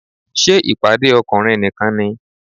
Ṣé ìpàdé ọkùnrin nìkan ni?